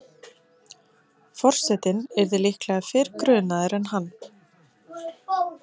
Forsetinn yrði líklega fyrr grunaður en hann.